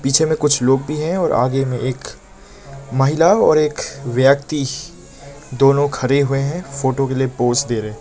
पीछे मे कुछ लोग भी है और आगे में एक महिला और एक व्यक्ति दोनों खड़े हुए हैं फोटो के लिए पोज़ दे रहे।